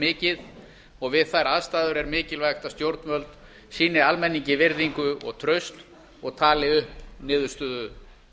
mikið og við þær aðstæður er mikilvæg að stjórnvöld sýni almenningi virðingu og traust og tali upp niðurstöðu